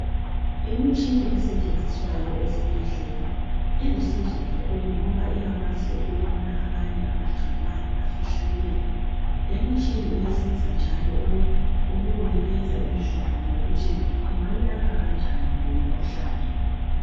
Imitshina esetshenziswayo ezibhedlela ilusizo kakhulu ngoba iyakwazi ukubona amanye amagcikwane afihlakele. Lemitshina iyasiza njalo ukukunikeza indlela yokuthi ungayilapha kanjani lemikhuhlane.